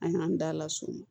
An y'an da la so